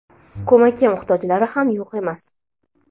ko‘makka muhtojlari ham yo‘q emas.